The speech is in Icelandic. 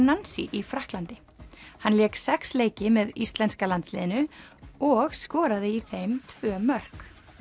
Nancy í Frakklandi hann lék sex leiki með íslenska landsliðinu og skoraði í þeim tvö mörk